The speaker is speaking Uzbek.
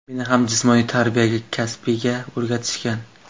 Meni ham jismoniy tarbiya kasbiga o‘rgatishgan.